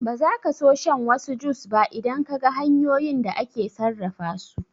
Ba zaka so shan wasu jus ba idan Kaga hanyoyin da ake sarrafa su